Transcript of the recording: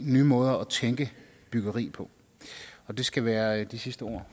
nye måder at tænke byggeri på det skal være de sidste ord